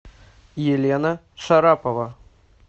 елена шарапова